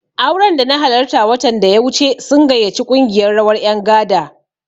Auren da na halarta watan da ya wuce sun gayyaci ƙungiyar rawar ƴan gada.